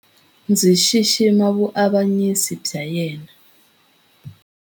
Ndzi xixima vuavanyisi bya yena.